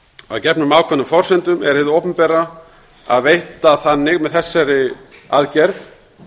að gefnum ákveðnum forsendum er hið opinbera að veita með þessari aðgerð